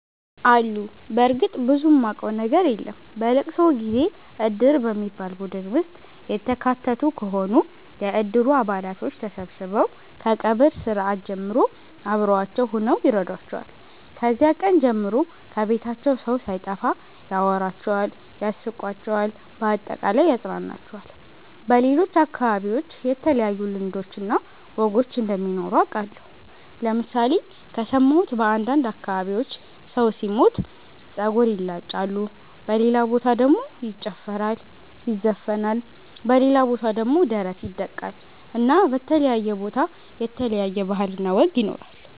አሉ በርግጥ ብዙም ማቀው ነገር የለም። በለቅሶ ጊዜ እድር በሚባል ቡድን ውስጥ የተካተቱ ከሆኑ የእድሩ አባላቶች ተሠብስበው ከቀብር ስርአት ጀምሮ አብሮዋቸው ሁነው ይረዷቸዋል። ከዚያ ቀን ጀምሮ ከቤታቸው ሠው ሣይጠፋ ያወራቸዋል ያስቃቸዋል በአጠቃላይ ያፅናናቸዋል። በሌሎች አከባቢዎች የተለዩ ልማዶች እና ወጎች እንደሚኖሩ አቃለሁ ለምሣሌ ከሠማሁት በአንዳንድ አከባቢዎች ሠው ሢሞት ጸጉር ይላጫሉ በሌላ በታ ደሞ ይጨፈራል ይዘፍናል በሌላ ቦታ ደሞ ደረት ይደቃል እና በተለያየ ቦታ የተለያየ ባህል እና ወግ ይኖራል።